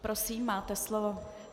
Prosím, máte slovo.